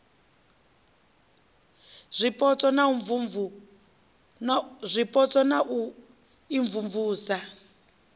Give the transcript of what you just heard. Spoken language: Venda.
zwipotso na u imvumvusa u